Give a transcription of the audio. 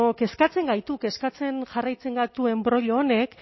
kezkatzen gaitu kezkatzen jarraitzen gaitu enbroilo honek